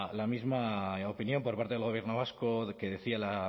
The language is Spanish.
la misma opinión por parte del gobierno vasco que decía la